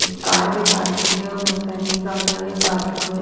Car भी parking है और बहुत सारी गाड़ियां भी पार्किंग में है।